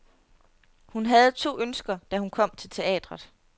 Hun havde to ønsker, da hun kom til teatret.